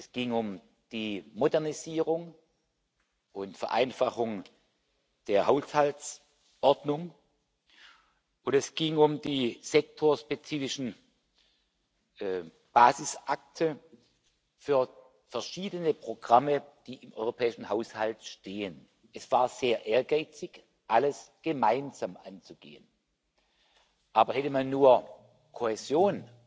Es ging um die Modernisierung und Vereinfachung der Haushaltsordnung, und es ging um die sektorspezifischen Basisakte für verschiedene Programme, die im europäischen Haushalt stehen. Es war sehr ehrgeizig, alles gemeinsam anzugehen. Aber hätte man nur Kohäsion